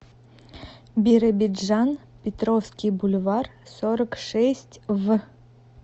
биробиджан петровский бульвар сорок шесть в